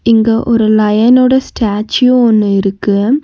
இங்க ஒரு லயன்னோட ஸ்டேச்சு ஒன்னு இருக்கு.